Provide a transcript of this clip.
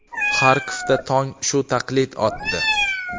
Xarkovda tong shu taqlid otdi.